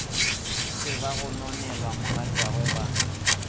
be ba gononela mogatšagwe ba